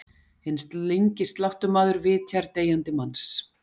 Hinn slyngi sláttumaður vitjar deyjandi manns.